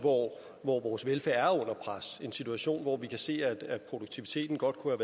hvor vores velfærd er under pres en situation hvor vi kan se at produktiviteten godt kunne